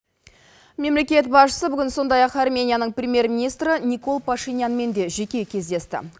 мемлекет басшысы бүгін сондай ақ арменияның премьер министрі никол пашенянмен де жеке кездесті